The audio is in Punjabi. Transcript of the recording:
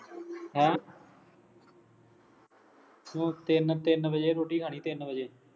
ਹੈ ਤੂੰ ਤਿੰਨ ਤਿੰਨ ਵਜੇ ਰੋਟੀ ਖਾਣੀ ਤਿੰਨ ਵਜੇ